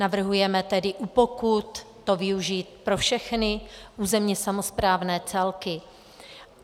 Navrhujeme tedy u pokut to využít pro všechny územně samosprávné celky.